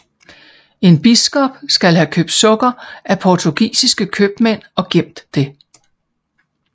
En biskop skal have købt sukker af portugisiske købmænd og gemt det